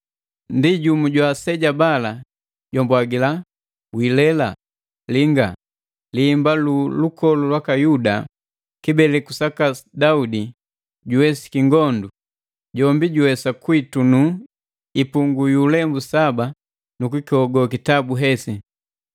Ndi jumu jwa aseja bala jwambwagila,“Wiilela! Linga! Lihimba lu lukolu lwaka Yuda, kibeleku saka Daudi, juwesiki ngondu. Jombi juwesa kuitunu ipungi yu ulembu saba nu kukihogo kitabu hesi.”